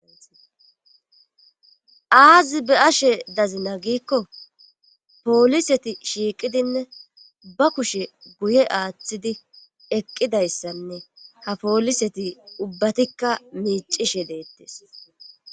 Aazi be ashe dazina giikko pooliseti shiiqidinne ba kushe guye aaththidi eqqidayssanne ha pooliseti ubbatikka miicishe deettes